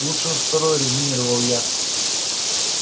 лучше уж второе резюмировал я